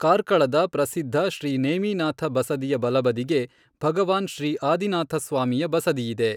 ಕಾರ್ಕಳದ ಪ್ರಸಿದ್ಧ ಶ್ರೀ ನೇಮಿನಾಥ ಬಸದಿಯ ಬಲಬದಿಗೆ ಭಗವಾನ್ ಶ್ರೀ ಆದಿನಾಥ ಸ್ವಾಮಿಯ ಬಸದಿಯಿದೆ.